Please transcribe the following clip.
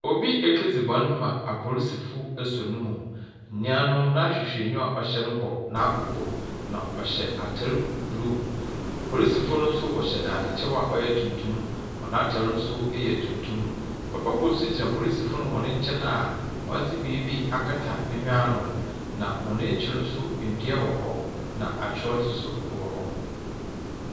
Obi ekedzi bɔ n ma apolisifo esuo no mu. Nyia no, n’ahwehwɛenyiwa a ɔhyɛ no bɔ n’akoko, na ɔhyɛ atar blue. Polisifo no wɔhyɛ dadzekyɛw a ɔyɛ tuntum, hɔn atar no so yɛ tuntum. Papa kor so gyina polisifo no nkyɛn a ɔdze biribi akata ne hwen ano. Na hɔn ekyir no so, ndua wɔ hɔ na akyerɛwdze nso wɔ hɔ.